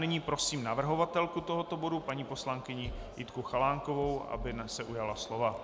Nyní prosím navrhovatelku tohoto bodu paní poslankyni Jitku Chalánkovou, aby se ujala slova.